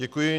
Děkuji.